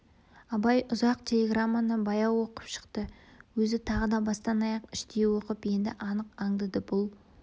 абай ұзақ телеграмманы баяу оқып шықты өзі тағы да бастан-аяқ іштей оқып енді анық аңдады бұл